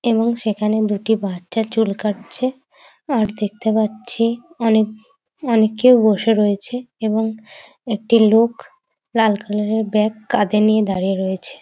এবং সেখানে দুটি বাচ্চা চুল কাটছে | আর দেখতে পাচ্ছি অনেক অনেকেই বসে রয়েছে | এবং একটি লোক লাল কালার -এর ব্যাগ কাঁধে নিয়ে দাঁড়িয়ে রয়েছে ।